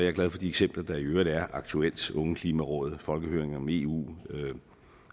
er glad for de eksempler der i øvrigt er aktuelt ungeklimarådet og folkehøringer om eu